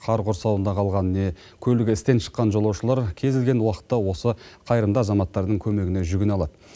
қар құрсауында қалған не көлігі істен шыққан жолаушылар кез келген уақытта осы қайырымды азаматтардың көмегіне жүгіне алады